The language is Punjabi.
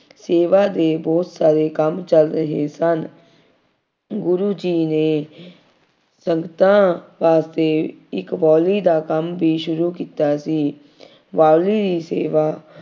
ਸੇਵਾ ਦੇ ਬਹੁਤ ਸਾਰੇ ਕੰਮ ਚੱਲ ਰਹੇ ਸਨ। ਗੁਰੂ ਜੀ ਨੇ ਸੰਗਤਾਂ ਵਾਸਤੇ ਇੱਕ ਬਾਊਲੀ ਦਾ ਕੰਮ ਵੀ ਸ਼ੁਰੂ ਕੀਤਾ ਸੀ। ਬਾਊਲੀ ਦੀ ਸੇਵਾ